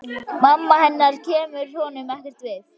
Mamma hennar kemur honum ekkert við.